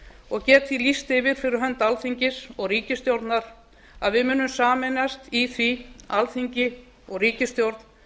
og get því lýst yfir fyrir hönd alþingis og ríkisstjórnar að við munum sameinast í því alþingi og ríkisstjórn